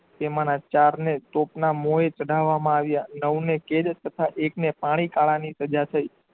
તેમના ચારને તોપના મોયે ચઢાવવામાં આવ્યા નવને કેદ તથા એકને પાણી કળાની સજા થઇ.